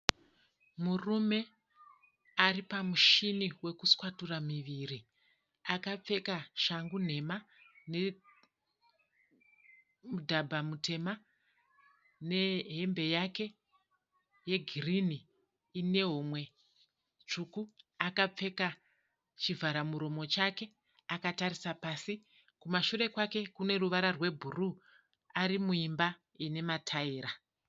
Murume ari pamushini wekuswatura miviri. Akapfeka shangu nhema nemudhabha mutema nehembe yake yegirinhi ine homwe tsvuku. Akapfeka chivhara muromo chake akatarisa pasi. Kumashure kwake kune ruvara rwebhuru ari muimba ine matayira.